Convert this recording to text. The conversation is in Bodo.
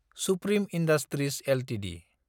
supreme industries Ltd